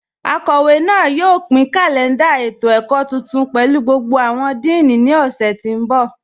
Akọwe náà yóò pin kalẹ̀ndà ètò-ẹ̀kọ̀ tuntun pẹ̀lú gbogbo awọn díìní ni ọ̀ṣẹ̀ tí n bọ.